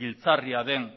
giltzarria den